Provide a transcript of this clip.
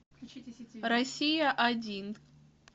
россия один